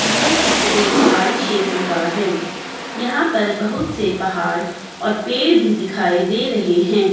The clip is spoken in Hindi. यह चित्र एक पहाड़ी छेत्र का है यहां पर बहुत से पहाड़ और पेड़ भी दिखाई दे रहे हैं।